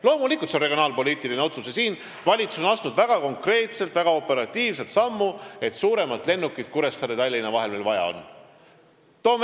Loomulikult on see regionaalpoliitiline otsus ja siin on valitsus astunud väga konkreetselt ja väga operatiivselt samme, sest suuremat lennukit on Kuressaare ja Tallinna vahelisel liinil vaja.